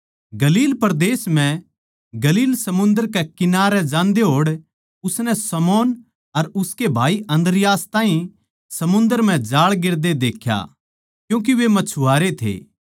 गलील परदेस म्ह गलील समुन्दर कै किनारै जांदे होड़ उसनै शमौन अर उसके भाई अन्द्रियास ताहीं समुन्दर म्ह जाळ गेर दे देख्या क्यूँके वे मछवारे थे